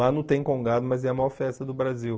Lá não tem Congado, mas é a maior festa do Brasil.